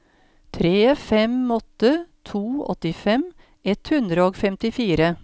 tre fem åtte to åttifem ett hundre og femtifire